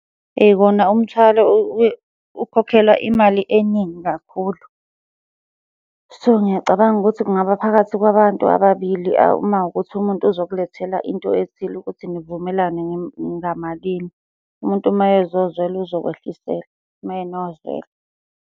Eyi, kona umthwalo ukhokhelwa imali eningi kakhulu. So, ngiyacabanga ukuthi kungaba phakathi kwabantu ababili uma kuwukuthi umuntu uzokulethela into ethile ukuthi nivumelane ngamalini. Umuntu uma ezozwelo uzokwehlisela, uma enozwelo.